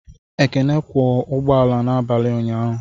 Ekene kwọ ụgbọala n'abalị ụnyaahụ